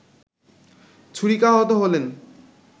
ছুরিকাহত হলেন